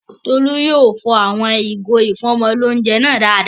Tolú yóò fọ àwọn ìgò ìfọ́mọlóunjẹ náà dáadáa